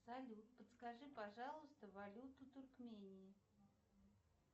салют подскажи пожалуйста валюту туркмении